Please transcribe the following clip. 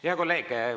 Hea kolleeg!